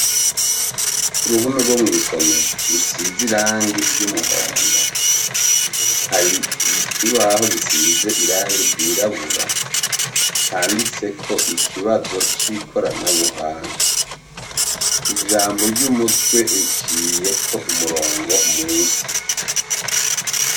Ku ruhome rwo mw'isomero rusize irangi ry'umuhondo hari ikibaho gisize irangi ryirabura canditseko ikibazo c'ikorana buhanga ijambo ry'umutwe riciyeko umurongo musi.